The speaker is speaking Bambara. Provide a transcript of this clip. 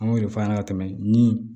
An b'o de fɔ a ɲɛna ka tɛmɛ ni